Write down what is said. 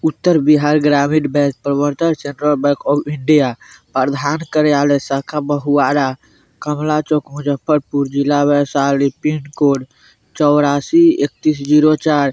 उत्तर Bihar Gramin bank प्रवर्तक central bank of India प्रधान कार्यालय शाखा बहुआरा कमला चौक मुज़फ़्फ़रपुर जिला वैशाली पिन कोड चौरासी ईकतीस ज़ीरो चार।